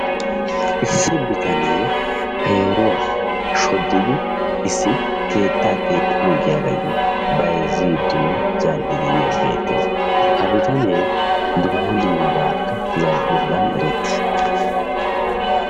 Issi bitanee peeruwaa shooddidi issi keettaa keexxana giyaagayoo bayzziidinne zaal"idi beettees. Ha btanee dumma dummabaakka zal"iyoogan erettiis.